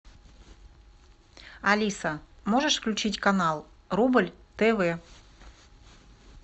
алиса можешь включить канал рубль тв